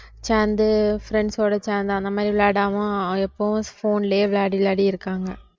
சேர்ந்து friends ஓட சேர்ந்து அந்த மாதிரி விளையாடாம எப்பவும் phone லயே விளையாடி விளையாடி இருக்காங்க